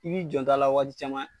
I bi janto a la waati caman.